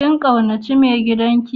Kin kaunace Mai gidan ki?